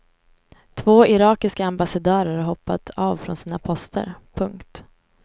Två irakiska ambassadörer har hoppat av från sina poster. punkt